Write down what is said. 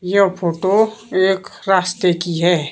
यह फोटो एक रास्ते की है।